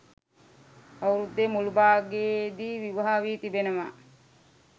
අවුරුද්දේ මුල් භාගයේදී විවාහ වී තිබෙනවා